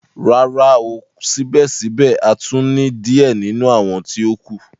Rara, ko sibẹsibẹ a tun ni diẹ ninu awọn ti o kù.